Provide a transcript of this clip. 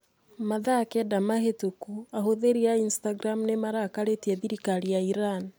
Mathaa kenda mahĩtũku ahũthĩri a Instagram nĩ marakarĩtie thirikari ya Iran.